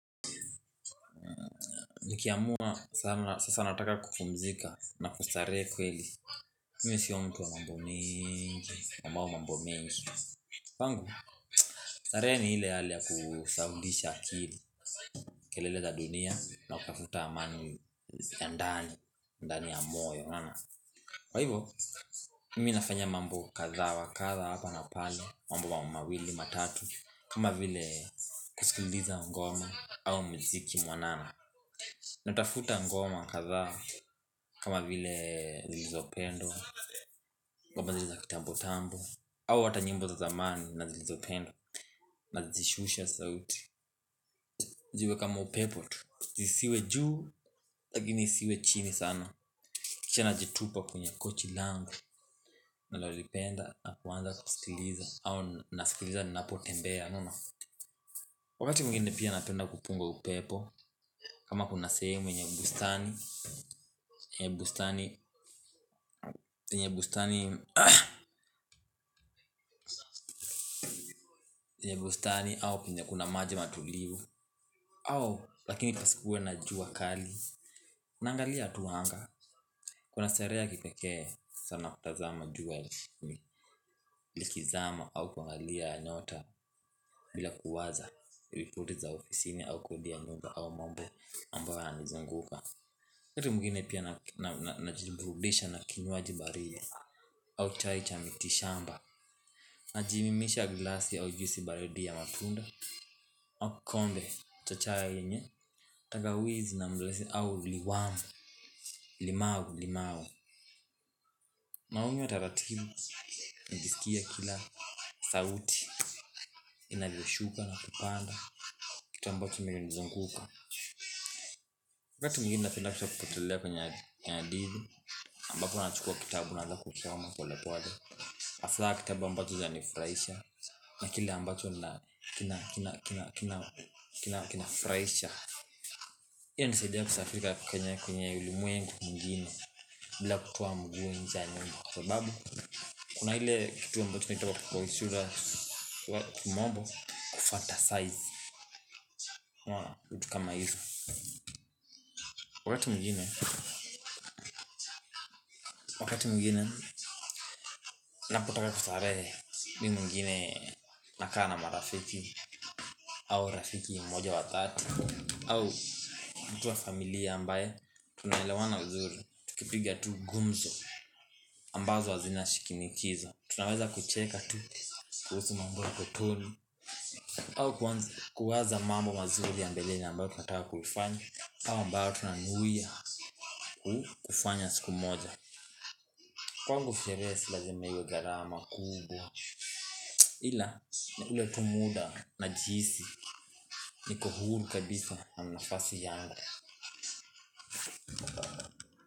Nikiamua, sasa nataka kupumzika na kustarehe kweli. Mimi sio mtu wa mambo mingi, mambo mambo mingi. Kwangu, starehe ni ile hali ya kusahaulisha akili. Kelele za dunia na kutafuta amani ya ndani, ndani ya moyo. Kwa hivyo, mimi nafanya mambo kadhaa wa kadhaa hapa na pale, mambo mawili, matatu. Kama vile kusikiliza ngoma au mziki mwanana. Natafuta ngoma kadhaa kama vile zilizopendwa Kwa kama vile za kitambotambo au ata nyimbo za zamani na zilizopendwa na zishusha sauti ziwe kama upepo tu Zisiwe juu, lakini zisiwe chini sana kisha najitupa kwenye kochi langu Nalolipenda na kuanza kusikiliza au nasikiliza ninapo tembea Wakati mwingine pia napenda kupunga upepo kama kuna sehemu yenye bustani yenye bustani yenye bustani yenye bustani au penye kuna maji matulivu au lakini pasikuwe na jua kali Naangalia tu anga Kuna stareha ya kipeke sana kutazama jua Likizama au kuangalia nyota bila kuwaza ripoti za ofisini au kodi ya nyunba au mambo ambayo yananizunguka wakati mwingine pia Najiburudisha na kinywaji baridi au chai cha miti shamba Najimimisha glasi au juisi baridi ya matunda au kikombe, cha chai yenye tangawizi na mlezi au liwamu limau, limau naunywa taratibu nijisikia kila sauti inavyoshuka na kupanda kitu ambacho mehendizunguka wakati mwingine napenda kupotelea kwenye hadithi ambapo nachukua kitabu naanza kukikwama polepole hasa kitabu ambacho kinanifuraisha na kile ambacho na kina, kina, kina, kina kina furahisha, hiyo inisaidia kusafirika kwenye kwenye ulimwengu mwingine bila kutoa mguu nje nyumba kwa sababu, kuna hile kituwa mbo tunaitopo kwa usura kumobo, kufanta saizi mwana, kutuka maizu, wakati mungine wakati mwingine, napotaka kustarehe ni mungine nakana marafiki au rafiki mmoja wa dhati au, mtu wa familia ambaye tunaelawana vizuri, tukipigia tu gumzo ambazo hazina shikimikizo Tunaweza kucheka tu kuhusu mambo ya utotoni au kwanza kuwaza mambo mazuri ya mbele na ambayo kutatawa kufanya au mbao tunanuwia kufanya siku moja Kwangu sherehe si lazima iwe gharama kumbwa Ila ule tu muda najihisi ni kuhuru kabisa na mnafasi yangu.